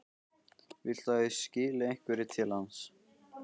Viltu að ég skili einhverju til hans?